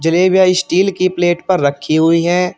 जलेबिया steel की plate पर रखी हुई है।